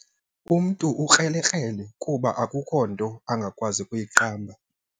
Umntu ukrelekrele kuba akukho nto angakwazi kuyiqamba.